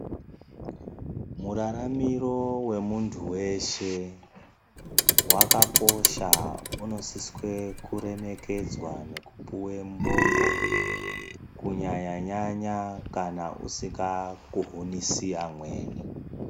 Muraramiro wemuntu weshe wakakosha. Unosiswe kuremekedzwa kupiwe mubongo, kunyanya-nyanya kana usika kuhunisi amweni.